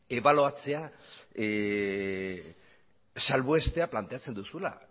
ebaluatzea salbuestea planteatzen duzula